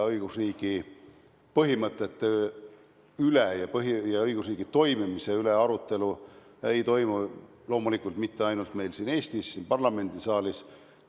Õigusriigi põhimõtete ja õigusriigi toimimise üle ei toimu arutelu loomulikult mitte ainult meil Eestis ja siin parlamendisaalis.